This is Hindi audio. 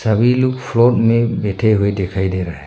कई लोग फ्लोर में बैठे हुए दिखाई दे रहा है।